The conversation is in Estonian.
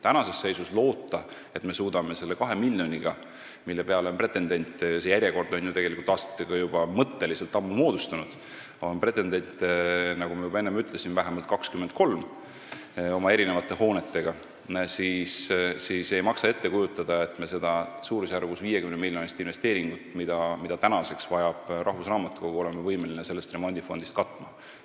Tänases seisus ei saa loota, et me suudame kõik ära teha selle 2 miljoniga, mille peale on 23 pretendenti oma erinevate hoonetega – see järjekord on ju tegelikult aastatega mõtteliselt juba ammu moodustunud –, ega maksa ette kujutada, nagu me oleksime võimelised seda suurusjärgus 50-miljonilist investeeringut, mida rahvusraamatukogu nüüdseks vajab, sellest remondifondist katma.